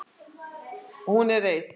Hún er reið.